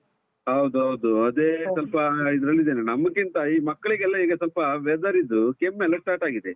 ಹೌದೌದು, ಅದೇ ಸ್ವಲ್ಪ ಇದ್ರಲ್ಲಿ ಇದ್ದೇನೆ. ನಮ್ಕಿಂತ ಈ ಮಕ್ಳಿಗೆಲ್ಲ ಈಗ ಸ್ವಲ್ಪ weather ಇದ್ದು ಕೆಮ್ಮೆಲ್ಲಾ start ಆಗಿದೆ.